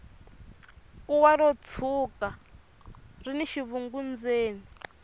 kuwa ro tshwuka rini xivungu endzeni